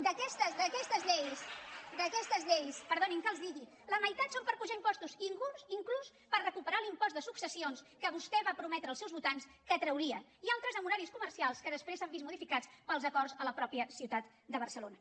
d’aquestes lleis perdonin que els ho digui la meitat són per apujar impostos inclús per recuperar l’impost de successions que vostè va prometre als seus votants que trauria i altres amb horaris comercials que després s’han vist modificats pels acords a la mateixa ciutat de barcelona